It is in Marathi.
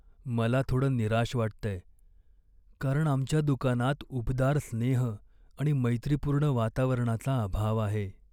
मला थोडं निराश वाटतंय, कारण आमच्या दुकानात उबदार स्नेह आणि मैत्रीपूर्ण वातावरणाचा अभाव आहे.